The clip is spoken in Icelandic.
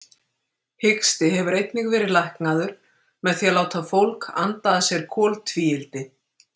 Hiksti hefur einnig verið læknaður með því að láta fólk anda að sér koltvíildi.